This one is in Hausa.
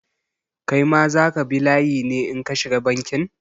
Kai ma za ka bi layi ne in ka shiga bankin?